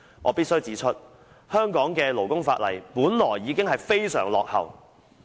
我必須指出，香港的勞工法例本來已經非常落後。